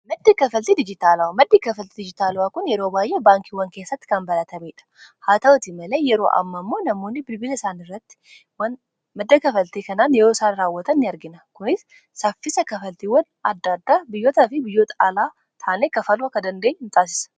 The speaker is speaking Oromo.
maddii kafaltii dijitaalawaa kun yeroo baay'ee baankiiwwan keessatti kan balatamiidha haa ta'utii malee yeroo amma ammoo namoonni birbila isaan irratti madda kafaltii kanaan yeroo isaan raawwatan in argina kunis saffisa kafaltiiwwan adda addaa biyyoota fi biyyoot alaa taanee kafalwa ka dandeeny hin xaasisa